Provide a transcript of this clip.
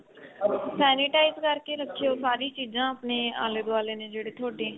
sanitize ਕਰ ਕੇ ਰੱਖਿਓ ਸਾਰੀ ਚੀਜ਼ਾ ਆਪਣੇ ਆਲੇ ਦੁਆਲੇ ਨੇ ਜਿਹੜੇ ਥੋਡੇ